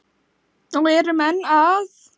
Og erum enn að.